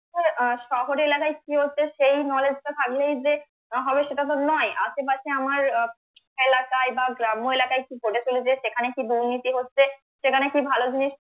আহ শহর এলাকায় কি হচ্ছে সেই knowledge টা থাকলেই যে হবে সেটা তো নয় আশেপাশে আমার আহ এলাকায় বা গ্রাম্য এলাকায় কি ঘটে চলেছে সেখানে কি দুর্নীতি হচ্ছে সেখানে কি ভালো জিনিস,